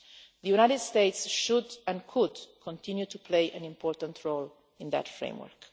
The United States should and could continue to play an important role in that framework.